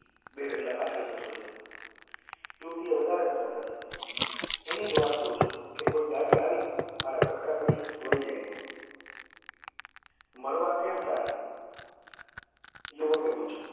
બે ડગલા પાછળ જતો રહ્યો યુવતી એ વધારે ઊંચા સાદે કહ્યું એની જ વાટ જોઉં છું કે કોઈ ગાડી આવી મારા કટકા કરી વાયી જાય મરવા કેમ ચાહે યુવકે પૂછ્યું